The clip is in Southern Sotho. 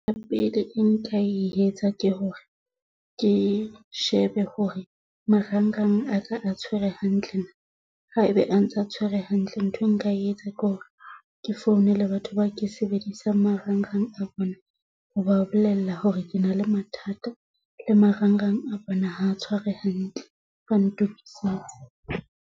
Ya pele e nka etsa ke hore ke shebe hore marang rang a ka a tshwere hantle, ha ebe a ntsa tshwere hantle nthwe nka e etsa ke hore ke founele batho ba ke sebedisang marang rang a bona ho ba bolella hore ke na le mathata le marang rang a bona, ha a tshware hantle ba ntokisetse.